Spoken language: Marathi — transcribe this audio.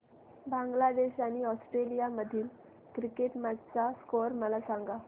बांगलादेश आणि ऑस्ट्रेलिया मधील क्रिकेट मॅच चा स्कोअर मला सांगा